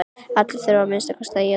Allir þurfa að minnsta kosti að éta.